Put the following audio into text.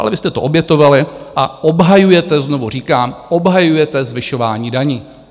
Ale vy jste to obětovali a obhajujete, znovu říkám, obhajujete zvyšování daní.